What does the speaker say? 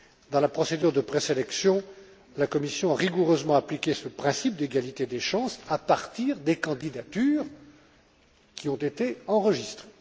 Dans la procédure de présélection, la Commission a rigoureusement appliqué ce principe d'égalité des chances à partir des candidatures qui ont été enregistrées.